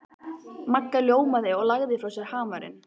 Magga ljómaði og lagði frá sér hamarinn.